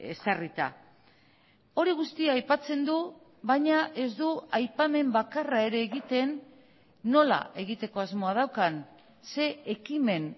ezarrita hori guztia aipatzen du baina ez du aipamen bakarra ere egiten nola egiteko asmoa daukan zein ekimen